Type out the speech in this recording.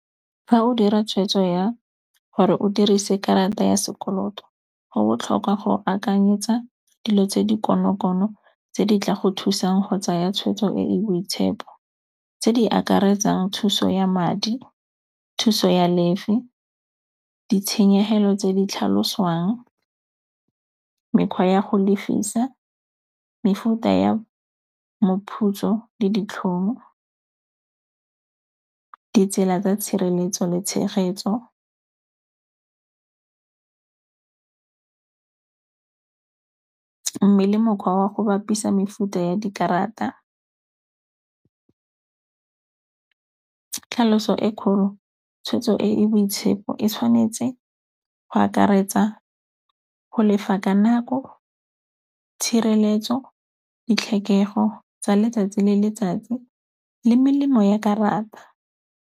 fa o dira tshwetso ya gore o dirise karata ya sekoloto go botlhokwa go akanyetsa dilo tse di konokono tse di tla go thusang go tsaya tshwetso e e boitshepo. Tse di akaretsang thuso ya madi, thuso ya lefe, ditshenyegelo tse di tlhaloswang, mekgwa ya go lefisa, mefuta ya moputso le ditlhong. Ditsela tsa tshireletso le tshegetso mme le mokgwa wa go bapisa mefuta ya dikarata. Tlhaloso e kgolo, tshwetso e e boitshepo e tshwanetse go akaretsa go lefa ka nako, tshireletso, ditlhokego tsa letsatsi le letsatsi le melemo ya karata.